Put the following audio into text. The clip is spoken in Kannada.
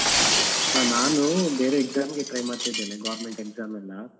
ನಾನು ಬೇರೆ exam ಗೆ try ಮಾಡ್ತಿದ್ದೇನೆ government exam ಎಲ್ಲಾ.